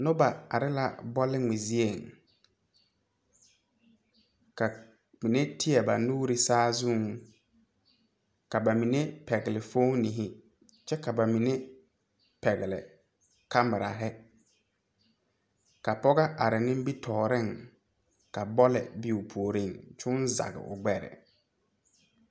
Nobɔ arɛɛŋ ka ba mine zeŋ teŋɛŋ ka ba mine ve sempaare puoriŋ ka ba mine are ka kõɔŋ waara kyɛ ka da wogre are are.